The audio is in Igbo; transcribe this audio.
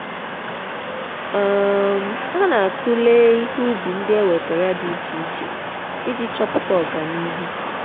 um ha na-tulee ihe ubi ndị e wetara dị iche iche iji chọpụta ọganihu.